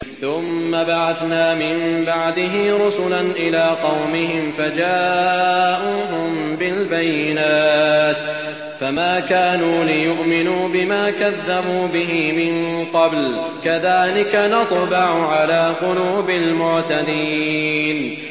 ثُمَّ بَعَثْنَا مِن بَعْدِهِ رُسُلًا إِلَىٰ قَوْمِهِمْ فَجَاءُوهُم بِالْبَيِّنَاتِ فَمَا كَانُوا لِيُؤْمِنُوا بِمَا كَذَّبُوا بِهِ مِن قَبْلُ ۚ كَذَٰلِكَ نَطْبَعُ عَلَىٰ قُلُوبِ الْمُعْتَدِينَ